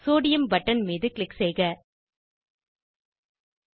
sodium button மீது click செய்வோம்